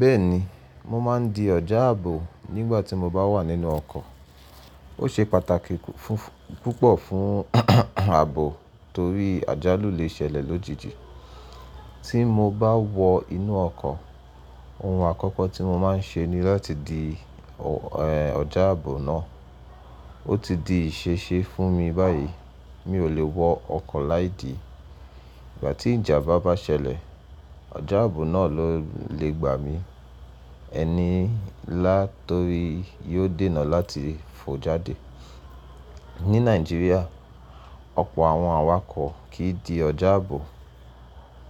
Bẹ́ẹ̀ni, mo máa ń di ọjà ààbò nígbà tí mo bá wà nínú ọkọ̀. Ó ṣe pàtàkì púpọ̀ fún ààbò torí àjálù lè ṣẹlẹ̀ lójijì. Tí mo bá wọ inú ọkọ̀, ohun àkọ́kọ́ tí mo máa ń ṣe ni láti di ọjà ààbò náà. Ó ti di ìṣeṣe fún mi báyìí, mi ò lè wọ ọkọ̀ láìdí. Ìgbà tí ìjàmbá bá ṣẹlẹ̀, ọjà ààbò náà ló lè gbà mí ẹni lá torí yóò dènà láti fò jáde. Ní Nàìjíríà, ọ̀pọ̀ àwọn awakọ̀ kì í di ọjà ààbò.